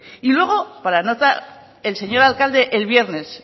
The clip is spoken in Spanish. y luego para nota el señor alcalde el viernes